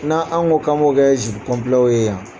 N' an anw ko k'an kɛ zipu kɔnpilɛ ye yan